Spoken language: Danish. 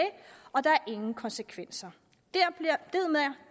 og der er ingen konsekvenser